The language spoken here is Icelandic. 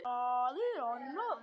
Það er annað